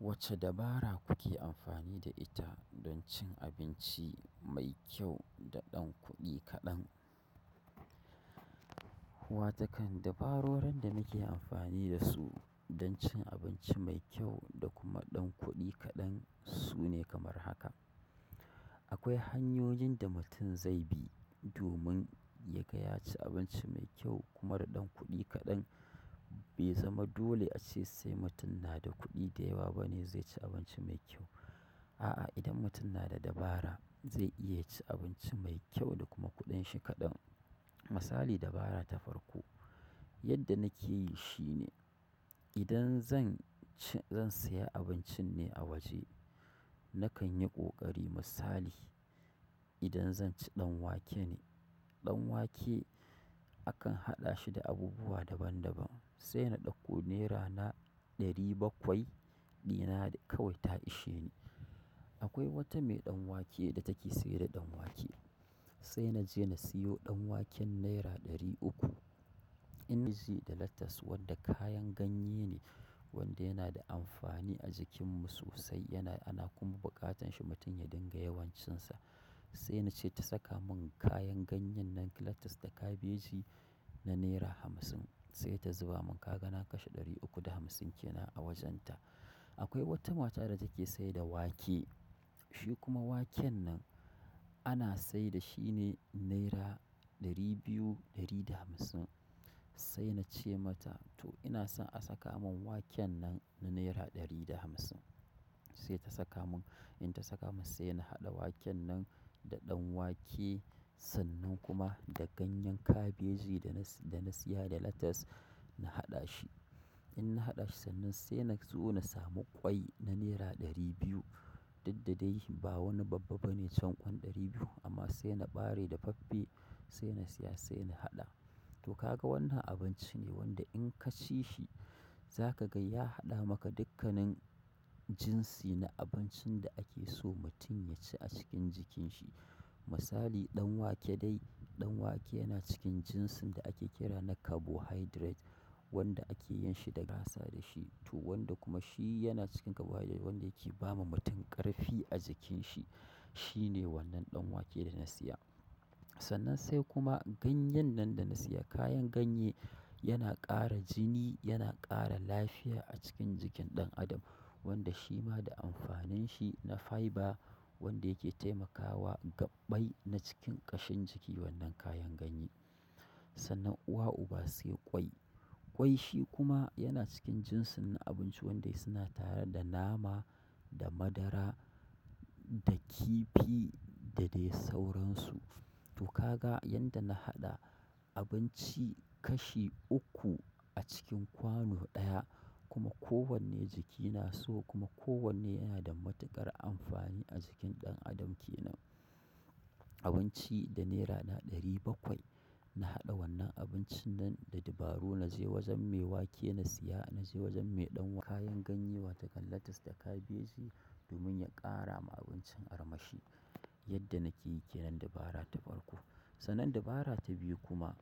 Wacce dabara kuke amfani da ita don cin abinci mai kyau da ɗan kuɗi kaɗan? Watakan dabarorin da muke amfani da su don cin abinci mai kyau da kuma ɗan kuɗi kaɗan su ne kamar haka. Akwai hanyoyin da mutum zai bi domin ya gaya ci abinci mai kyau kuma da ɗan kuɗi kaɗan. Bai zama dole a ce sai mutum na da kuɗi da yawa bane zai ci abinci mai kyau. A'a, idan mutum na da dabara zai iya ci abinci mai kyau da kuma kuɗin shi kaɗan. Misali dabara ta farko, yadda nake yi shine idan zan ci, zan saya abincin ne a waje. Nakan yi ƙoƙari misali idan zan ci ɗan wake ne, ɗan wake akan haɗa shi da abubuwa daban daban. Sai na ɗauko nera na ɗari bakwai, dina kawai ta ishe ni. Akwai wata mai ɗan wake da take sayar da ɗan wake. Sai na je na siyo ɗan waken naira ɗari uku. ""Da lettuce wanda kayan ganye ne wanda yana da amfani a jikinmu sosai yana, ana kuma buƙatan shi mutum ya dinga yawan cinsa. Sai na ce ta saka mun kayan ganyen nan lettuce da kabeji na naira hamsin. Sai ta zuba mun kaga na kashe ɗari uku da hamsin ke nan a wajenta. Akwai wata mata da take sayar da wake. Shi kuma waken nan ana sayar da shi ne naira ɗari biyu ɗari da hamsin. Sai na ce mata to ina so a saka mun waken nan na naira ɗari da hamsin. Sai ta saka mun, in ta saka mun sai na haɗa waken nan da ɗan wake sannan kuma da ganyen kabeji, da na siya da lettuce na haɗa shi. In na haɗa shi sannan sai na zo na samu ƙwai na naira ɗari biyu. Diddade ba wani babba bane can ƙwai ɗari biyu amma sai na bare da faffe sai na siya sai na haɗa. To ka ga wannan abinci ne wanda in ka ci shi za ka ga ya haɗa maka dukkanin jinsi na abincin da ake so mutum ya ci a cikin jikin shi. Misali ɗan wake dai, ɗan wake yana cikin jinsin da ake kira na carbohydrate wanda ake yin shi daga da shi. To wanda kuma shi yana cikin carbohydrate wanda yake ba ma mutum ƙarfi a jikin shi. Shi ne wannan ɗan wake da na siya. Sannan sai kuma ganyen nan da na siya, kayan ganye yana ƙara jini, yana ƙara lafiya a cikin jikin ɗan adam. Wanda shima da amfanin shi na fyber, wadda yake taimaka wa gabbai na cikin kashin cikin wannan kayan ganyen sannan uwa uba sai ƙwai. Ƙwai shi kuma yana cikin jinsin na abinci waɗanda suna tare da nama, da madara, da kifi da dai sauransu. To ka ga yadda na haɗa abinci kashi uku a cikin kwano ɗaya kuma kowanne jikina so kuma kowanne yana da matuƙar amfani a jikin ɗan adam ke nan. Abinci da nera na ɗari bakwai. Na haɗa wannan abincin nan da dabaru. Na je wajen me wake na siya, na je wajen me ɗan wa-- kayan ganye watakan lettuce da kabeji domin ya ƙara ma abincin armashi. Yadda nake yi ke nan dabara ta farko. Sannan dabara ta biyu kuma,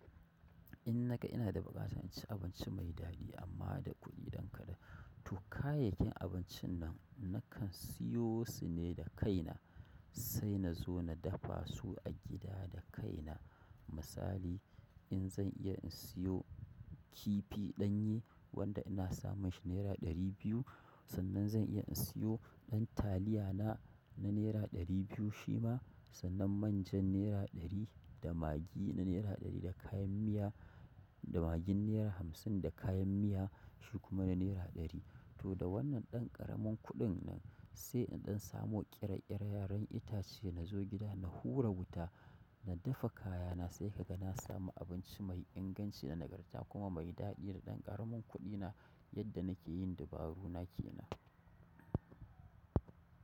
in naga ina da buƙatan ci abinci mai daɗi amma da kuɗi ɗan kaɗan. To kayayyakin abincin nan nakan siyo su ne da kaina. Sai na zo na dafa su a gida da kaina. Misali in zan iya in siyo kifi ɗanye wanda ina samun shi naira ɗari biyu sannan zan iya in siyo ɗan taliyana na naira ɗari biyu shi ma sannan manjan naira ɗari da magi na naira ɗari da kayan miya, da magin naira hamsin da kayan miya shi kuma na naira ɗari. To da wannan ɗan ƙaramin kuɗin nan sai in ɗan samu ƙera ƙera yaran itace na zo gida na hura wuta, na dafa kayana sai ka ga na samu abinci mai inganci da nagarta kuma mai daɗi da ɗan ƙaramin kuɗina yadda nake yin dabaru na kenan.